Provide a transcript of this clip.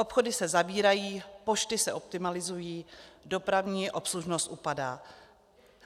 Obchody se zavírají, pošty se optimalizují, dopravní obslužnost upadá.